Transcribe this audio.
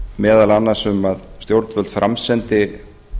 meðal annars um að stjórnvöld framsendi